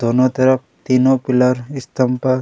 दोनों तरफ तीनो पिलर स्तम्भ पर--